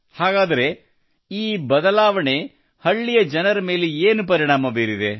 ಹಾಗಾದರೆ ಈ ಬದಲಾವಣೆಯು ಹಳ್ಳಿಯ ಜನರ ಮೇಲೆ ಏನು ಪರಿಣಾಮ ಬೀರಿದೆ